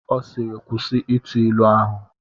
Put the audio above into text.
Ọ sịịrị, kwụsị ịtụ ilu ahụ!